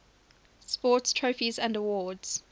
sports trophies and awards